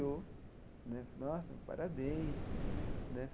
Falou né, nossa, parabéns né.